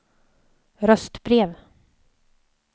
röstbrev